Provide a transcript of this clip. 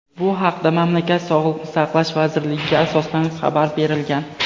Bu haqda mamlakat Sog‘liqni saqlash vazirligiga asoslanib xabar berilgan.